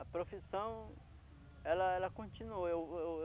A profissão, ela ela continuou. Eu eu